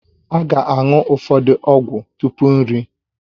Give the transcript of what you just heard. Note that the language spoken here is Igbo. A ga-aṅụ ụfọdụ ọgwụ tupu nri